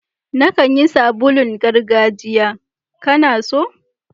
Na kan yi sabulun gargajiya, ka na so?